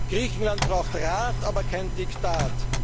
Griechenland braucht Rat, aber